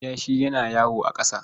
Kiyashi yana yawo a ƙasa.